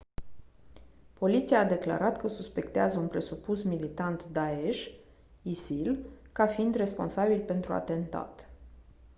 poliția a declarat că suspectează un presupus militant daesh isil ca fiind responsabil pentru atentat